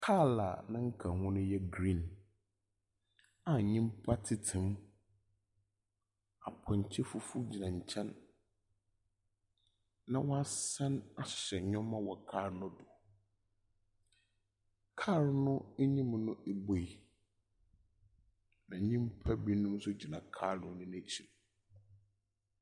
Kaar a ne nkaho no yɛ green, a nyimpa tsetsem. Apɔnkye fufuw gyina nkyɛn, na wɔasan asoa nneɛma wɔ kaar no do. Kaar no enyim no ebuei, na nyimpa binom nso gyina kaar no n'ekyir.